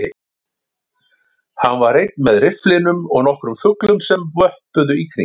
Hann var einn með rifflinum og nokkrum fuglum sem vöppuðu í kring